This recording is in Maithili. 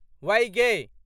वैगै